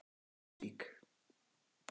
Breiðdalsvík